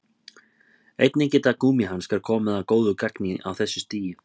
Einnig geta gúmmíhanskar komið að góðu gagni á þessu stigi.